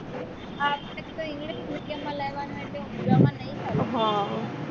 આપણે તો english medium માં લેવાનું એટલે ઉંજાં માં નહિ ચાલે